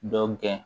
Dɔ gɛn